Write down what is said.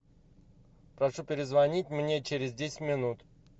прошу перезвонить мне через десять минут